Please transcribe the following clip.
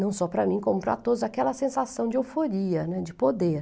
não só para mim, como para todos, aquela sensação de euforia, né, de poder.